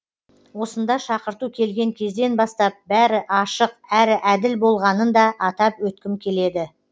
осында шақырту келген кезден бастап бәрі ашық әрі әділ болғанын да атап өткім келеді